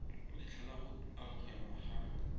letlha la go amogelwa ga